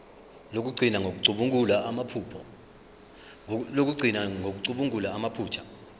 lokugcina ngokucubungula amaphutha